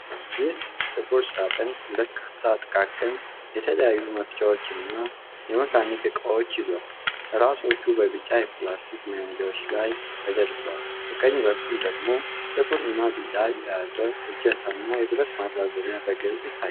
ይህ ጥቁር ሳጥን በርካታ ጥቃቅን የተለያዩ መፍቻዎችን እና የመካኒክ እቃዎችን ይዟል። ራሶቹ በቢጫ የፕላስቲክ መያዣዎች ላይ ተደርድረዋል። በቀኝ በኩል ደግሞ ጥቁርና ቢጫ የያዥ እጀታና የብረት ማራዘሚያ በግልጽ ይታያሉ።